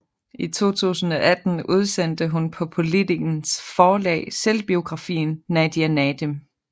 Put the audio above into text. I 2018 udsendte hun på Politikens Forlag selvbiografien Nadia Nadim